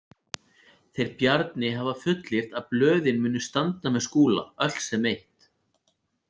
Þeir Bjarni hafa fullyrt að blöðin muni standa með Skúla, öll sem eitt.